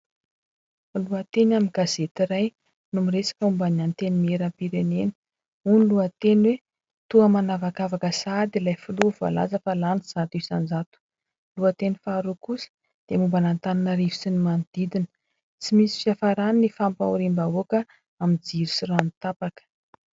Lohateny amin'ny gazety iray no miresaka momba ny Antenimierampirenena. Hoy ny lohateny hoe : toa manavakavaka sahady ilay filoha izay milaza fa lany zato isanjato. Lohateny faharoa kosa dia momba an'Antananarivo sy ny manodidina : tsy misy fiafarany ny fampahoriam-bahoaka amin'ny jiro sy rano tapaka.